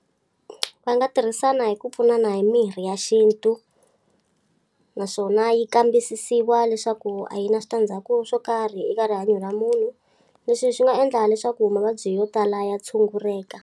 Va nga tirhisana hi ku pfunana hi mirhi ya xintu. Naswona yi kambisisiwa leswaku a yi na switandzhaku swo karhi eka rihanyo ra munhu. Leswi swi nga endla leswaku mavabyi yo tala ya tshunguleka.